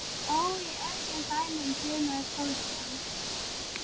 Hann góndi upp í loftið!